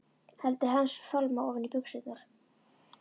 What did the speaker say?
Hendur hans fálma ofan í buxurnar.